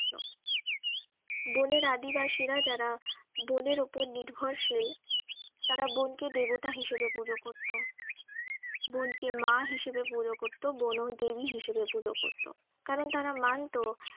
বনের আদিবাসীরা যারা বনের ওপর নির্ভরশীল তারা বনকে দেবতা হিসাবে পুজো করতো বনকে মা হিসাবে পুজো করতো বনদেবী হিসাবে পুজো করত কারণ তারা মানত